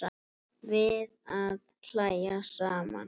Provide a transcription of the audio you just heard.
Við að hlæja saman.